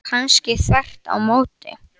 Kannski þvert á móti.